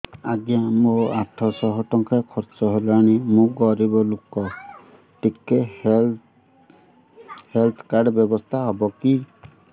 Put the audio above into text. ଆଜ୍ଞା ମୋ ଆଠ ସହ ଟଙ୍କା ଖର୍ଚ୍ଚ ହେଲାଣି ମୁଁ ଗରିବ ଲୁକ ଟିକେ ହେଲ୍ଥ କାର୍ଡ ବ୍ୟବସ୍ଥା ହବ କି